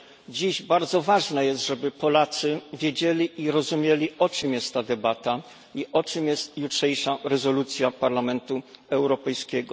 Dziś bardzo ważne jest, żeby Polacy wiedzieli i rozumieli, o czym jest ta debata i o czym jest jutrzejsza rezolucja Parlamentu Europejskiego.